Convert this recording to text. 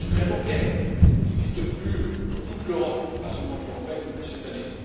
Le secret bancaire n'existe plus dans toute l'Europe, pas seulement l'Union européenne, depuis cette année.